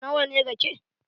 Na wa ne rake?